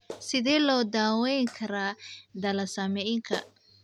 Sidee loo daweyn karaa thalassaemiaka?